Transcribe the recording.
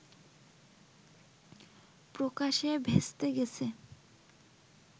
প্রকাশে ভেস্তে গেছে